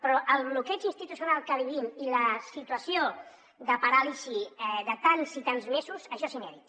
però el bloqueig institucional que vivim i la situació de paràlisi de tants i tants mesos això és inèdit